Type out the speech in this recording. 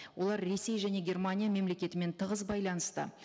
олар ресей және германия мемлекетімен тығыз байланыста